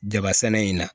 Jaba sɛnɛ in na